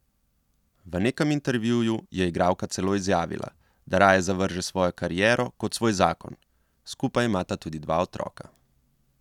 V nekem intervjuju je igralka celo izjavila, da raje zavrže svojo kariero kot svoj zakon, skupaj imata tudi dva otroka.